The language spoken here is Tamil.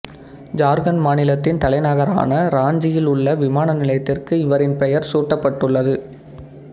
சார்க்கண்ட் மாநிலத்தின் தலைநகரான ராஞ்சியில் உள்ள விமான நிலையத்திற்கு இவரின் பெயர் சூட்டப்பட்டுள்ளது